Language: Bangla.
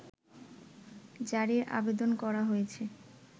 জারির আবেদন করা হয়েছে